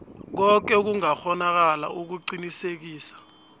koke okungakghonakala ukuqinisekisa